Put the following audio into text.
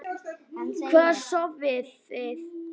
Hvar sofiði?